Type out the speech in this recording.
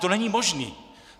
To není možný!